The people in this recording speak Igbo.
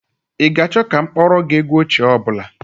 Ị ga-achọ ka m kpọọrọ gị egwu ochie ọ bụla?